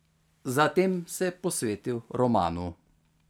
Zatem se je posvetil romanu.